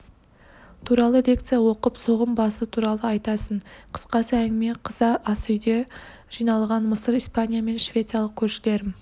туралылекция оқып соғым басы туралы айтасың қысқасы әңгіме қыза асүйде жиналған мысыр испания мен швециялық көршілерім